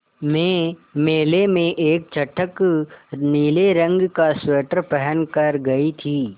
मैं मेले में एक चटख नीले रंग का स्वेटर पहन कर गयी थी